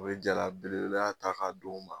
O ye jala belebelea ta k'a d'o ma